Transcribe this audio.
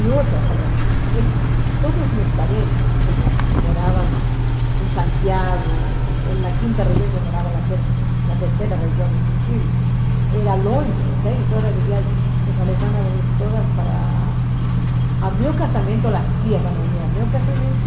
E outra, falei assim, ele todos os meus parentes, como moravam em Santiago, na quinta região, eu morava na terceira região do Chile, era longe, dez horas de viagem, eu falei, vão vir todas para... A meu casamento, as tias vão vir a meu casamento,